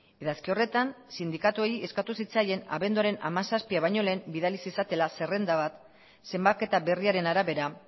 idazki horretan sindikatuei eskatu zitzaien abenduaren hamazazpia baino lehen bidali zezatela zerrenda bat zenbaketa berriaren arabera